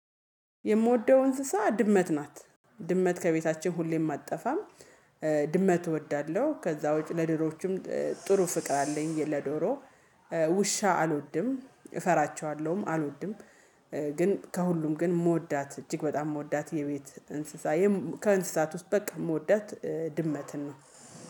የምወደው እንስሳ ድመት ናት። ድመት ከቤታችን ሁሌም አትጠፋም ድመት እወዳለሁ ከዛ ውጪ ለዶሮቹም ጥሩ ፍቅር አለኝ ለዶሮ ውሻ አልወድም እፈራቸዋለሁም አልወድም ግን ከሁሉም ግን የምወዳት እጅግ በጣም የምወዳት የቤት እንስሳ ከእንስሳት ውስጥ በቃ የምወዳት ድመትን ነው